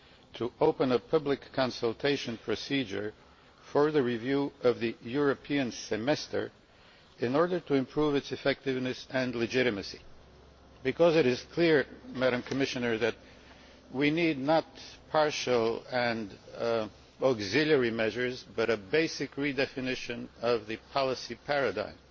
to open a public consultation procedure for the review of the European Semester in order to improve its effectiveness and legitimacy, because it is clear, Madam Commissioner, that we do not need partial and auxiliary measures but a basic redefinition of the policy paradigm.